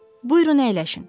Buyurun, əyləşin.